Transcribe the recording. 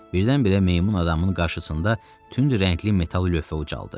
Birdən-birə meymun adamın qarşısında tünd rəngli metal lövhə ucaldıldı.